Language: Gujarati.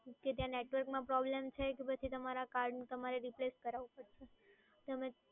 કે ત્યાં નેટવર્કમાં પ્રોબ્લેમ છે કે પછી તમારા કાર્ડનું તમારે replace કરાવું પડશે. તમે